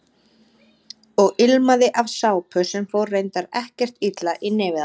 Og ilmaði af sápu sem fór reyndar ekkert illa í nefið á honum.